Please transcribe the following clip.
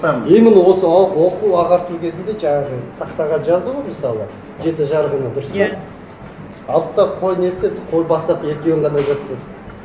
там именно осы оқу ағарту кезінде жаңағы тақтаға жазды ғойғ мысалы жеті жарғыны дұрыс па иә алды да қой не істеді қой бастапқы екеуін ғана жаттады